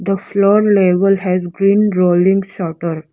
the floor level has green rolling shutter.